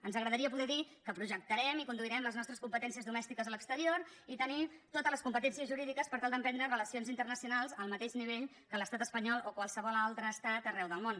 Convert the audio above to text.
ens agradaria poder dir que projectarem i conduirem les nostres competències domèstiques a l’exterior i tenir totes les competències jurídiques per tal d’emprendre relacions internacionals al mateix nivell que l’estat espanyol o qualsevol altre estat arreu del món